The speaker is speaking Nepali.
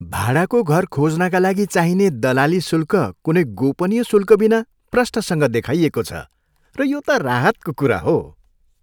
भाडाको घर खोज्नका लागि चाहिने दलाली शुल्क कुनै गोपनीय शुल्कबिना प्रस्टसँग देखाइएको छ र यो त राहतको कुरा हो।